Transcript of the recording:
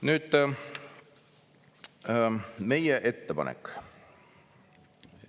Nüüd meie ettepanek.